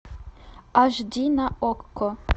аш ди на окко